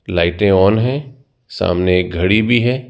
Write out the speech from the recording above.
लाइटें ऑन हैं सामने एक घड़ी भी है।